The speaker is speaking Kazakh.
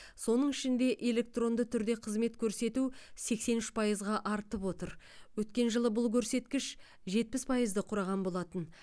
соның ішінде электронды түрде қызмет көрсету сексен үш пайызға артып отыр өткен жылы бұл көрсеткіш жетпіс пайызды құраған болатын